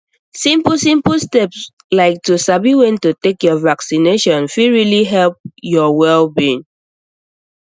simple simple steps like to sabi when to take your vaccination fit really help your wellbeing